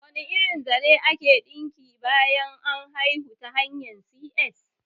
Da wane irin zare ake ɗinki bayan an haihu ta hanyar C.S?